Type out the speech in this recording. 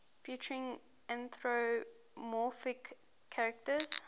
featuring anthropomorphic characters